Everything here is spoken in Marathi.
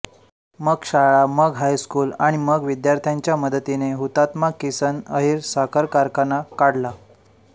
मग शाळा मग हायस्कूल आणि मग विद्यार्थ्यांच्या मदतीने हुतात्मा किसन अहीर साखर कारखाना काढला